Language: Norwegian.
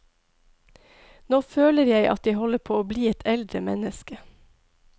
Nå føler jeg at jeg holder på å bli et eldre menneske.